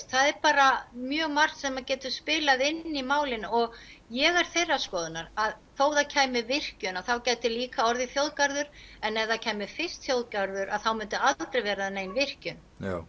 það er bara mjög margt sem getur spilað inn í málin og ég er þeirrar skoðunar að þó það kæmi virkjun þá gæti líka komið þjóðgarður en ef það kæmi fyrst þjóðgarður að þá myndi aldrei vera nein virkjun